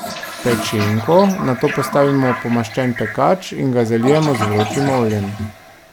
Pečenko nato postavimo v pomaščen pekač in ga zalijemo z vročim oljem.